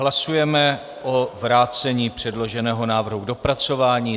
Hlasujeme o vrácení předloženého návrhu k dopracování.